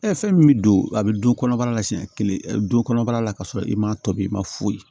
fɛn min bɛ don a bɛ du kɔnɔbara la siɲɛ kelen du kɔnɔ bara la ka sɔrɔ i ma tobi i ma foyi ye